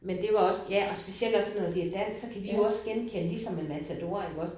Men det var også ja og specielt også sådan noget det er dansk så kan vi jo også genkende ligesom med Matador iggås